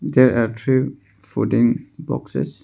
There are three fooding boxes.